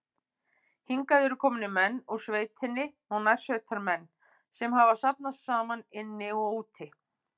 Hingað eru komnir menn úr sveitinni og nærsveitamenn, sem hafa safnast saman inni og úti.